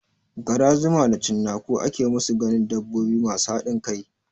Gara, zuma da cinnaku ake musu ganin dabbobi masu haɗin kai